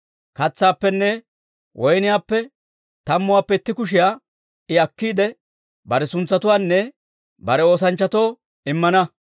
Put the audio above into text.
Katsaappenne woyniyaappe tammuwaappe itti kushiyaa I akkiide, bare suntsatoonne bare oosanchchatoo immana.